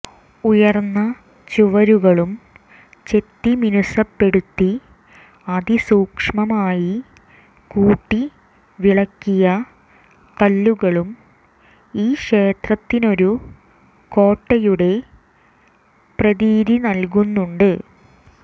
ഉയർന്ന ചുവരുകളും ചെത്തിമിനുസപ്പെടുത്തി അതിസൂക്ഷ്മമായി കൂട്ടിവിളക്കിയ കല്ലുകളും ഈ ക്ഷേത്രത്തിനൊരു കോട്ടയുടെ പ്രതീതി നൽകുന്നുണ്ട്